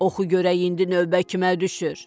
Oxu görək indi növbə kimə düşür.